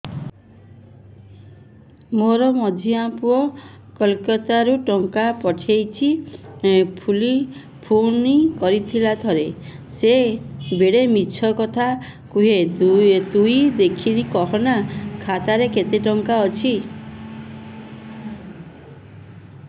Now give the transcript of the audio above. ମୋର ମଝିଆ ପୁଅ କୋଲକତା ରୁ ଟଙ୍କା ପଠେଇଚି ବୁଲି ଫୁନ କରିଥିଲା ଥରେ ଥରେ ସିଏ ବେଡେ ମିଛ କଥା କୁହେ ତୁଇ ଦେଖିକି କହନା ଖାତାରେ କେତ ଟଙ୍କା ଅଛି